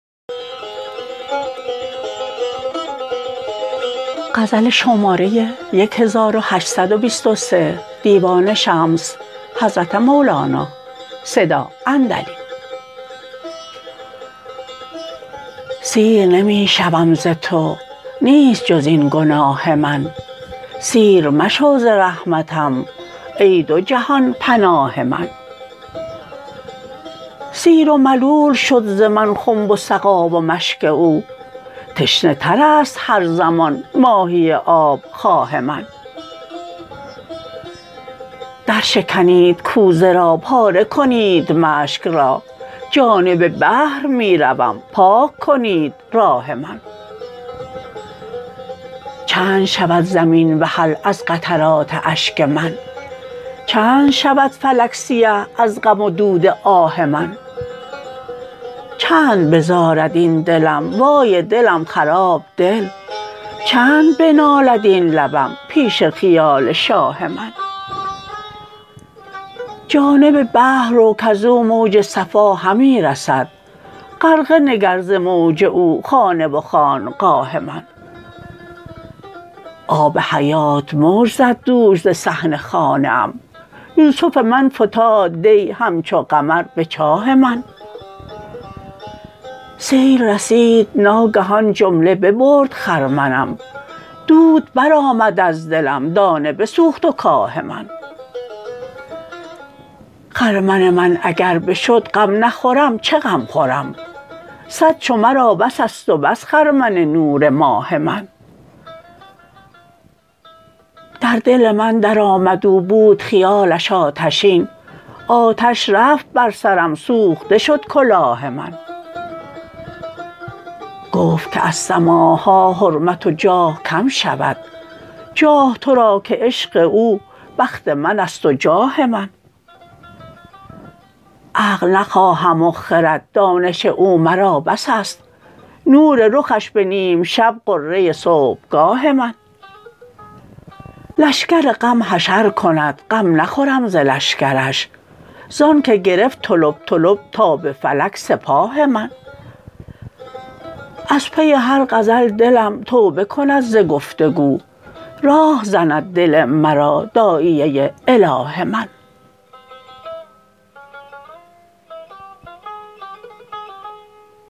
سیر نمی شوم ز تو نیست جز این گناه من سیر مشو ز رحمتم ای دو جهان پناه من سیر و ملول شد ز من خنب و سقا و مشک او تشنه تر است هر زمان ماهی آب خواه من درشکنید کوزه را پاره کنید مشک را جانب بحر می روم پاک کنید راه من چند شود زمین وحل از قطرات اشک من چند شود فلک سیه از غم و دود آه من چند بزارد این دلم وای دلم خراب دل چند بنالد این لبم پیش خیال شاه من جانب بحر رو کز او موج صفا همی رسد غرقه نگر ز موج او خانه و خانقاه من آب حیات موج زد دوش ز صحن خانه ام یوسف من فتاد دی همچو قمر به چاه من سیل رسید ناگهان جمله ببرد خرمنم دود برآمد از دلم دانه بسوخت و کاه من خرمن من اگر بشد غم نخورم چه غم خورم صد چو مرا بس است و بس خرمن نور ماه من در دل من درآمد او بود خیالش آتشین آتش رفت بر سرم سوخته شد کلاه من گفت که از سماع ها حرمت و جاه کم شود جاه تو را که عشق او بخت من است و جاه من عقل نخواهم و خرد دانش او مرا بس است نور رخش به نیم شب غره صبحگاه من لشکر غم حشر کند غم نخورم ز لشکرش زانک گرفت طلب طلب تا به فلک سپاه من از پی هر غزل دلم توبه کند ز گفت و گو راه زند دل مرا داعیه اله من